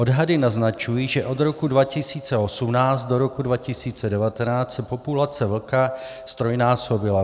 Odhady naznačují, že od roku 2018 do roku 2019 se populace vlka ztrojnásobila.